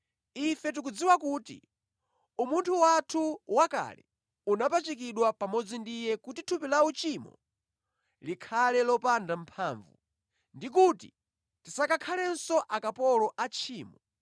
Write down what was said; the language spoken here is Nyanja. Ife tikudziwa kuti umunthu wathu wakale unapachikidwa pamodzi ndi Iye kuti thupi la uchimo likhale lopanda mphamvu ndi kuti tisakakhalenso akapolo a tchimo